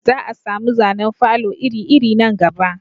Za a samu zanen falo iri iri nan gaba